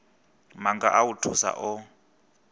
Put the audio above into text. maga a u thusa o